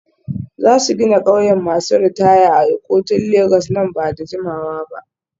Za su gina ƙauyen masu ritaya a Ikotun Legas nan ba da jimawa ba.